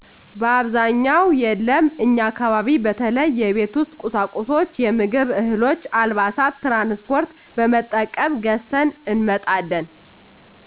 በአብዛኛውን የለም እኛ አካባቢ በተለይ የቤት ውስጥ ቁሳቁሶች፣ የምግብ እህሎች፣ አልባሳት...።ትራንስ ፓርት በመጠቀም ገዝተን እንመጣለን።